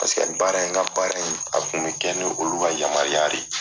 Paseke baara in ka baara in a kun bɛ kɛ ni olu ka yamaruya de